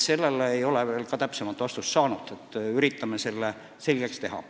Seda ei ole me veel täpsemalt otsustanud, üritame selle selgeks teha.